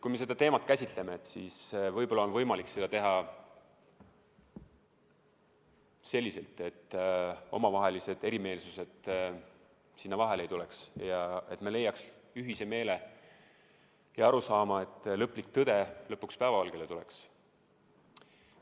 Kui me seda teemat käsitleme, siis võib-olla on võimalik seda teha selliselt, et omavahelised erimeelsused vahele ei tuleks ja me leiaks ühise meele ja arusaama, et lõplik tõde lõpuks päevavalgele tuleks.